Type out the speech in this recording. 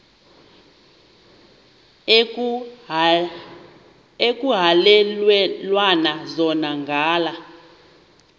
ekuhhalelwana zona ngala